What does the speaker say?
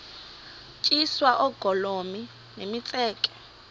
tyiswa oogolomi nemitseke